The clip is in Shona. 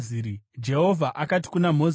Jehovha akati kuna Mozisi,